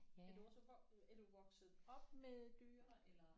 Er du også øh er du vokset op med dyr eller